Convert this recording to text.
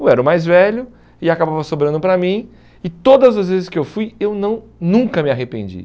Eu era o mais velho e acabava sobrando para mim e todas as vezes que eu fui eu não nunca me arrependi.